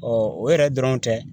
o yɛrɛ dɔrɔn tɛ